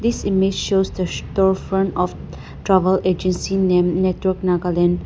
this image shows the store front of travel agency named network nagaland.